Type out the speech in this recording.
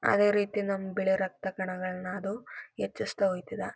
ಅದೇ ರೀತಿ ನಮ್ಮ ಬಿಳಿ ರಕ್ತ ಕಣಗಳನ್ನ ಅದು ಹೆಚ್ಚಿಸ್ತಾ ಹೋಯ್ತದೆ.